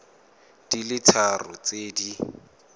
di le tharo tse di